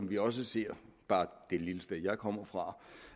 vi også ser bare det lille sted jeg kommer fra om